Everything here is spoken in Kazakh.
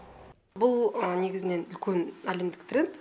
бұл негізінен үлкен әлемдік тренд